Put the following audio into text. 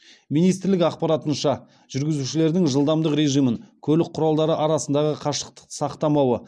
министрлік ақпаратынша жүргізушілердің жылдамдық режимін көлік құралдары арасындағы қашықтықты сақтамауы